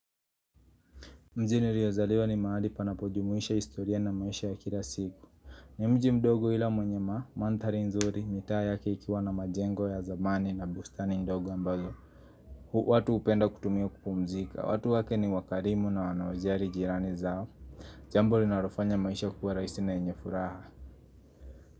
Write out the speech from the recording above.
Mjini niliozaliwa ni mahali panapojumuisha historia na maisha ya kila siku ni mji mdogo ila mwenye maa, manthari nzuri, mitaa ya ikikiwa na majengo ya zamani na bustani ndogo ambalo watu hupenda kutumia kupumzika, watu wake ni wakarimu na wanaojali jirani zao Jambo linalofanya maisha kuwa rahisi na yenye furaha.